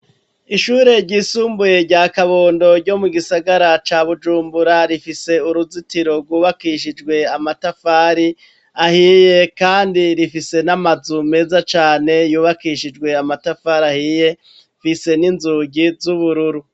Ishure ryisumbuye rya kabondo ryo mu gisagara ca Bujumbura rifise uruzitiro rwubakishijwe amatafari ahiye kandi rifise n'amazu meza cane yubakishijwe amatafari ahiye fise n'inzugi z'ubururu.